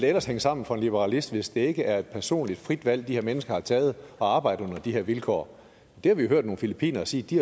ellers hænge sammen for en liberalist hvis det ikke er et personligt frit valg de her mennesker har taget at arbejde under de her vilkår det har vi jo hørt nogle filippinere sige de